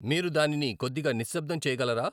మీరు దానిని కొద్దిగా నిశ్శబ్దం చేయగలరా